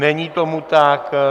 Není tomu tak.